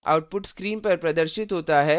output screen पर प्रदर्शित होता है: